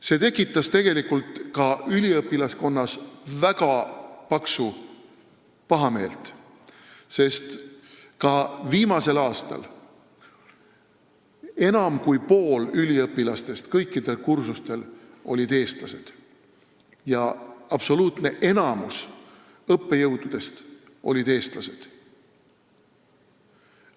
See tekitas üliõpilaskonnas väga paksu pahameelt, sest ka viimasel aastal olid enam kui pooled üliõpilased kõikidel kursustel eestlased ja absoluutne enamik õppejõududest olid eestlased.